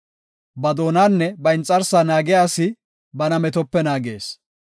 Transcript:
Ba doonanne ba inxarsaa naagiya asi bana metope naagees.